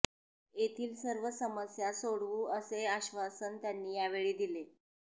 येथील सर्व समस्या सोडवू असे आश्वासन त्यांनी यावेळी दिले